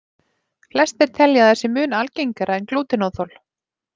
Flestir telja að það sé sé mun algengara en glútenóþol.